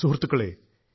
സുഹൃത്തുക്കളേ